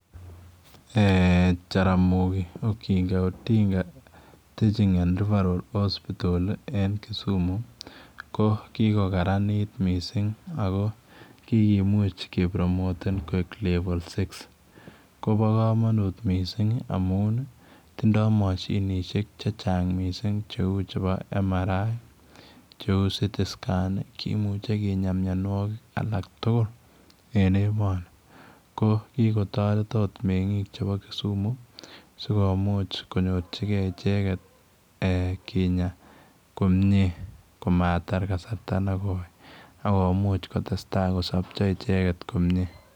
Jaramogi Oginga Odinga Teaching and Referral Hospital ii en Kisumu ko kikokararaniit missing' ako kikomuuch ke promoteen koek level six kobaa kamanuut missing' ii amii. Tindoi mashinisheek che chaang' missing' che uu chebo [MRI, CT scan] kimuchei kinyaa mianwagik alaak tugul en emanii ko kikotaret akoot mengiin ab Kisumu sikomuuch konyorjingei ichegeet kinyaa komyei komatar kasarta nekoi akomuuch kosapchaa ichegeet komyei.